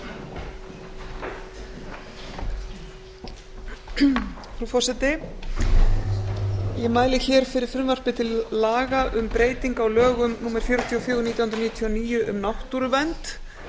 frú forseti ég mæli fyrir frumvarpi til laga um breytingu á lögum númer fjörutíu og fjögur nítján hundruð níutíu og níu um náttúruvernd